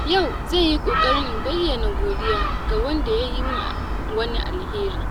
Yau zan yi kokari in bayyana godiya ga wanda ya yi min wani alheri.